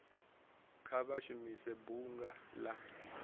kha vha shumise bunga la